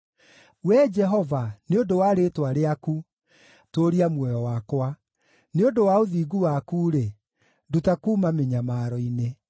Wee Jehova, nĩ ũndũ wa rĩĩtwa rĩaku, tũũria muoyo wakwa; nĩ ũndũ wa ũthingu waku-rĩ, nduta kuuma mĩnyamaro-inĩ.